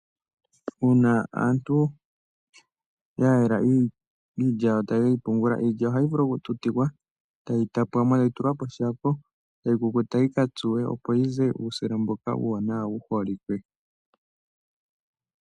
Uuna aantu ya yela iilya yawo taye ke yi pungula , iilya ohayi vulu okututikwa tayi tapwa mo tayi tulwa poshako tayi kukuta yi ka tsuwe opo yi ze uusila uuwanawa mboka wu holike.